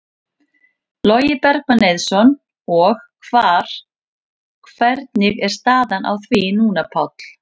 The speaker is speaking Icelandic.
Logi Bergmann Eiðsson: Og hvar, hvernig er staðan á því núna, Páll?